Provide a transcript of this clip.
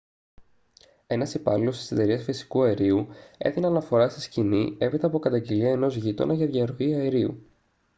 ένας υπάλληλος της εταιρείας φυσικού αερίου έδινε αναφορά στη σκηνή έπειτα από καταγγελία ενός γείτονα για διαρροή αερίου